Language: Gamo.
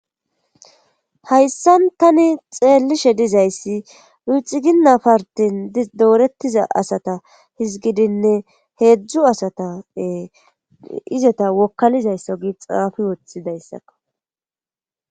hayssan tani xeellishe dizayssi ruxxiginna partin doorettiza asata hizgidinne heedzdzu asata izota wokkalizaysso gi xaafi woththi dayssakko